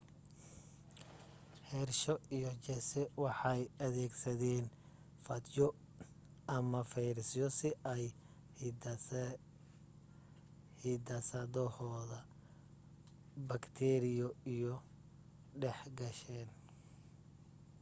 hershey iyo chase waxay adeegsadeen faajyo ama fayrasyo si ay hiddasadooha bakteeriyo u dhex geshaan